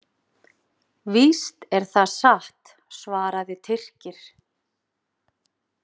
Víst er það satt, svaraði Tyrkir.